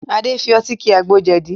Adé fi ọtí ki àgbo jẹ̀dí